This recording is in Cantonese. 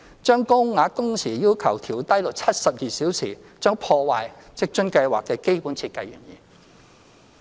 將高額工時要求調低至72小時，將破壞職津計劃的基本設計原意。